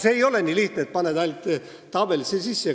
See ei ole nii lihtne, et paned ainult arvud tabelisse sisse.